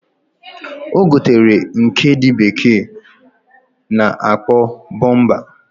Ogotere nke ndi bekee na akpo bumper.